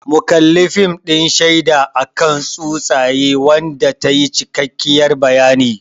Mun kalli fim din shaida akan tsutsaye wanda tayi cikakkiyar bayani